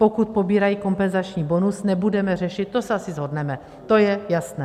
Pokud pobírají kompenzační bonus, nebudeme řešit, to se asi shodneme, to je jasné.